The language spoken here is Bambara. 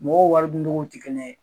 Mɔgɔw waridun togo tɛ kelen ye.